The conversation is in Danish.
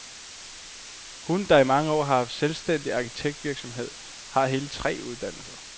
Hun, der i mange år har haft selvstændig arkitektvirksomhed, har hele tre uddannelser.